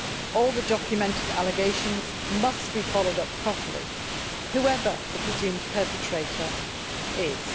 All the documented allegations must be followed up properly whoever the presumed perpetrator is.